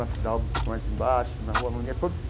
Na Fidalga, um pouco mais embaixo, na rua.